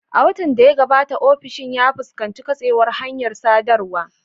A watan da ya gabata, ofishin ya fuskanci katsewar hanyar sadarwa.